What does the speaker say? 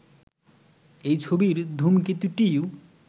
এই ছবির ধূমকেতুটিই